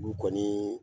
Olu kɔni